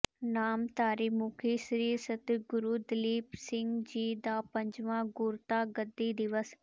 ਨਾਮਧਾਰੀ ਮੁਖੀ ਸ੍ਰੀ ਸਤਿਗੁਰੂ ਦਲੀਪ ਸਿੰਘ ਜੀ ਦਾ ਪੰਜਵਾਂ ਗੁਰਤਾ ਗੱਦੀ ਦਿਵਸ